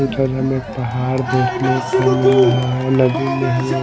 उधर हमें पहाड़ देखने को मिल रहा है नदी में हमें--